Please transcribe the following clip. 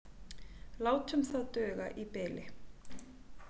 Látum það duga í bili.